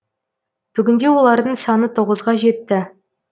бүгінде олардың саны тоғызға жетті